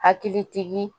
Hakilitigi